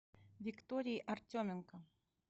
виктории артеменко